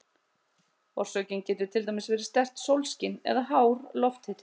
Orsökin getur til dæmis verið sterkt sólskin eða hár lofthiti.